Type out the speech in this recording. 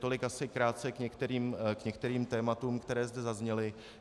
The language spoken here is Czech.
Tolik asi krátce k některým tématům, která zde zazněla.